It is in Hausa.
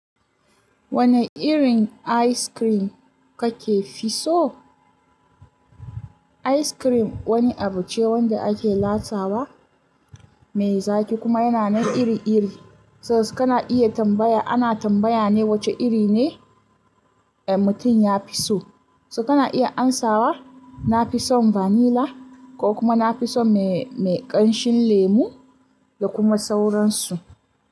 Wane irin ice cream kake fi so? Ice cream wani abu ce wanda ake lasawa, mai zaƙi kuma yana nan iri-iri. So kana iya tambaya, ana tambaya ne wace iri ne mutum ya fi so. So kana iya amsawa, na fi son vanilla ko kuma na fi son mai ƙanshin lemu da kuma sauransu.